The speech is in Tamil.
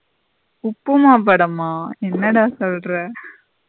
உப்புமா படமா என்னடா சொல்லுற.